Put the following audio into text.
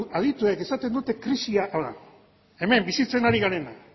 adituek esaten dute krisia hau da hemen bizitzen ari garena